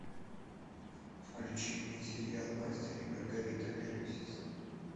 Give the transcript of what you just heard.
включи мне сериал мастер и маргарита первый сезон